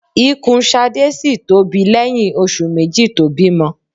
Ikùn Ṣadé ṣì tóbi lẹ́yìn oṣù méjì tó bímọ.